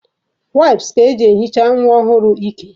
Waịps ka eji ehicha nwa ọhụrụ ike.